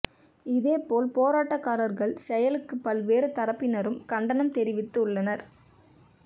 இதேபோல் போராட்டக்காரர்கள் செயலுக்கு பல்வேறு தரப்பினரும் கண்டனம் தெரிவித்து உள்ளனர்